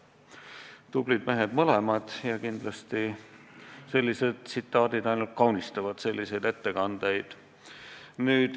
Tublid mehed mõlemad ja kindlasti sellised tsitaadid ainult kaunistavad selliseid ettekandeid.